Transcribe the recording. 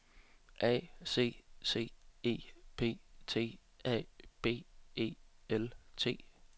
A C C E P T A B E L T